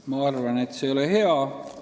Ma arvan, et see ei ole hea.